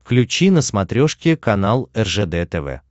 включи на смотрешке канал ржд тв